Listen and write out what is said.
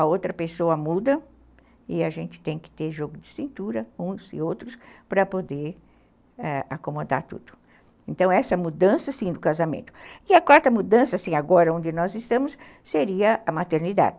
a outra pessoa muda e a gente tem que ter jogo de cintura uns e outros para poder, ãh, acomodar tudo. Então, essa mudança sim do casamento. E a quarta mudança, sim, agora onde nós estamos, seria a maternidade.